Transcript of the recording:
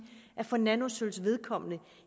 at for nanosølvs vedkommende